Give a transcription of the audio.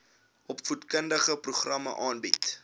opvoedkundige programme aanbied